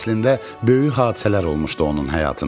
Əslində böyük hadisələr olmuşdu onun həyatında.